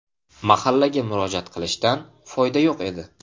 Mahallaga murojaat qilishdan foyda yo‘q edi.